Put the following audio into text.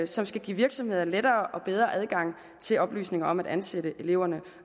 som skal give virksomheder lettere og bedre adgang til oplysninger om at ansætte elever